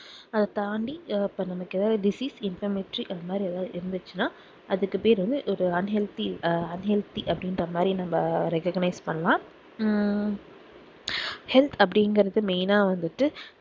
அத தாண்டி நமக்கு ஏதாவது diseaseinformetri அது மாதிரி எதாச்சும் இருந்துச்சுனா அதுக்கு பேர் வந்து இது unhealthy அஹ் unhealthy அப்டிங்குற மாதிரி நம்ப recoganize பண்ணலாம் உம் help அப்டிங்குறது main ஆஹ் வந்துட்டு